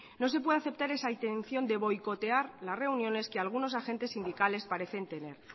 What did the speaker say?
no se puede aceptar esa intención de boicotear las reuniones que algunos agentes sindicales parecen tener